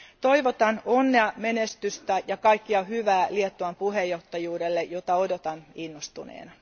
Toivotan onnea, menestystä ja kaikkea hyvää Liettuan puheenjohtajuudelle, jota odotan innostuneena.